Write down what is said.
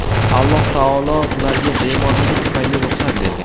Alloh taolo ularga bemorligi tufayli ruxsat bergan.